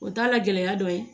O t'a la gɛlɛya dɔ ye